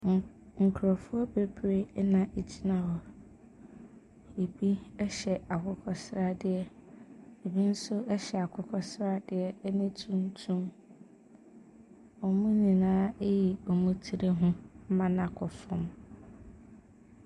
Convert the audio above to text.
N…nkurɔfoɔ bebree na wɔgyina hɔ. Ebi hyɛ akokɔ sradeɛ, ebi nso hyɛ akokɔ sradeɛ ne tuntum. Wɔn nyinaa ayi wɔn tiri ho ma no akɔ fam.